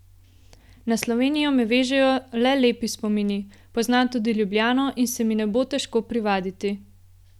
Na Slovenijo me vežejo le lepi spomini, poznam tudi Ljubljano in se mi ne bo težko privaditi.